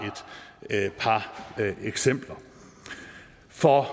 et par eksempler for